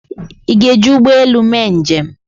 ị ga-eji ụgbọ elu mee njem?